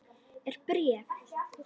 Er bréf?